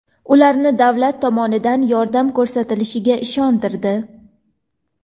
ularni davlat tomonidan yordam ko‘rsatilishiga ishontirdi.